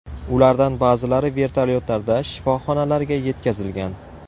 Ulardan ba’zilari vertolyotlarda shifoxonalarga yetkazilgan.